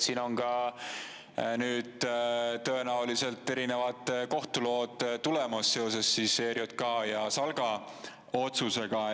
Siin on ka nüüd tõenäoliselt erinevad kohtulood tulemas seoses ERJK ja SALK‑i otsusega.